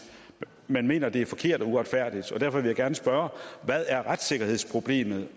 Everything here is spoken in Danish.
man mener det er forkert og uretfærdigt og derfor vil jeg gerne spørge hvad er retssikkerhedsproblemet